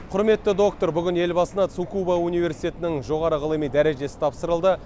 құрметті доктор бүгін елбасына цукуба университетінің жоғары ғылыми дәрежесі тапсырылды